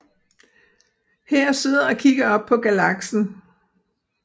Her sidder og kigger op på galaksen